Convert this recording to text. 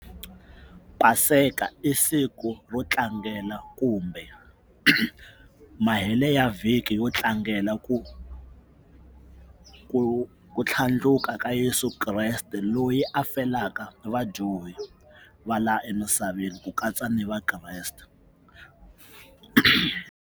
Paseka i siku ro tlangela kumbe mahele ya vhiki yo tlangela ku ku ku tlhandluka ka Yeso Kreste loyi a fanelaka vadyohi va laha emisaveni ku katsa ni va Kreste .